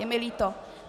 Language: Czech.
Je mi líto.